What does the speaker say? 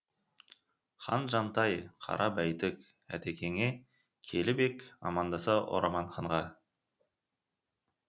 хан жантай қара бәйтік әтекеңе келіп ек амандаса орманханға